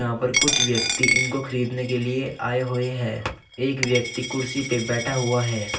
और कुछ व्यक्ति इनको खरीदने के लिए आए हुए हैं एक व्यक्ति कुर्सी पर बैठा हुआ है।